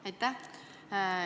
Aitäh!